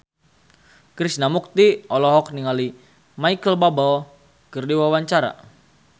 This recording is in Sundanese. Krishna Mukti olohok ningali Micheal Bubble keur diwawancara